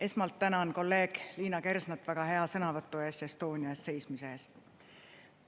Esmalt tänan kolleeg Liina Kersnat väga hea sõnavõtu eest, Estonia eest seismise eest!